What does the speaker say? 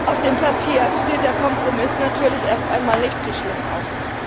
Auf dem Papier sieht der Kompromiss natürlich erst einmal nicht so schlimm aus.